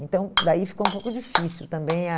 Então, daí ficou um pouco difícil também a.